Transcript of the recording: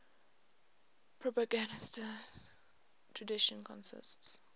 propagandist tradition consists